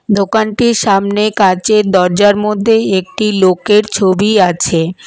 দোকানটির সামনে কাঁচের দরজার মধ্যে একটি লোকের ছবি আছে।